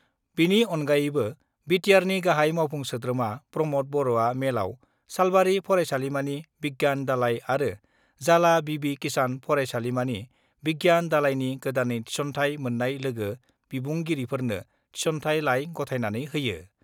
बेनि अनगायैबो बिटिआरनि गाहाइ मावफुं सोद्रोमा प्रमद बर'आ मेलाव सालबार फरायसालिमानि बिज्ञान दालाइ आरो जालाह बिबि किशान फरायसालिमानि बिज्ञान दालाइनि गोदानै थिसन्थाय मोन्नाय लोगो बिबुंगिरिफोरनो थिसन्थाय लाइ गथायनानै होयो।